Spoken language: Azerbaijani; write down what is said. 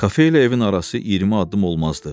Kafe ilə evin arası 20 addım olmazdı.